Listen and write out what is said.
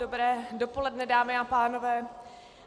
Dobré dopoledne dámy a pánové.